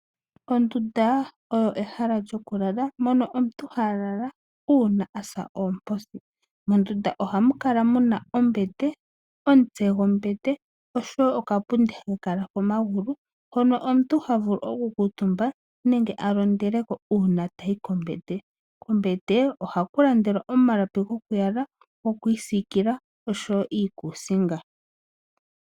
Ondunda oyo ehala lyoku lala mono omuntu ha lala uuna asa oomposi, mondunda ohamu kala muna ombete, omutsegombete osho woo okapundi haka kala komagulu hono omuntu ha vulu okukuutumba nenge a londeleko uuna tayi kombete, kombete oha ku landelwa omalapi gokuyala gokwiisiikila osho woo iikuusinga.